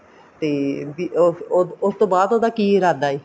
ਤੇ ਉਹ ਉਹ ਉਸਤੋਂ ਬਾਅਦ ਉਹਦਾ ਕੀ ਇਰਾਦਾ ਹੈ